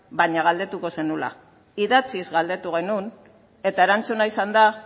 baina galdetuko zenuela idatzik galdetu genuen eta erantzuna izan da